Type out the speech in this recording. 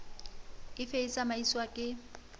e fe e tsamaiswang ke